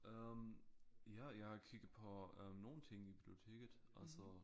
Øh ja jeg har kigget på øh nogle ting i biblioteket altså